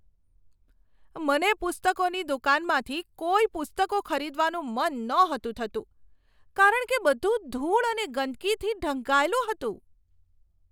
મને પુસ્તકોની દુકાનમાંથી કોઈ પુસ્તકો ખરીદવાનું મન નહોતું થતું કારણ કે બધું ધૂળ અને ગંદકીથી ઢંકાયેલું હતું.